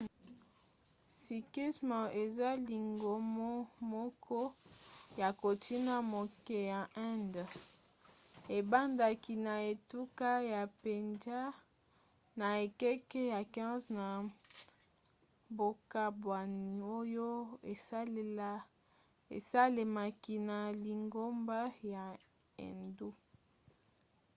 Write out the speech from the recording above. sikhisme eza lingomo moko ya kontina moke ya inde. ebandaki na etuka ya pendjab na ekeke ya 15 na bokabwani oyo esalemaki na lingomba ya hindu